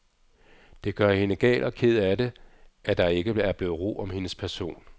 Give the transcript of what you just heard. Det gør hende gal og ked af det, at der ikke er blevet ro om hendes person.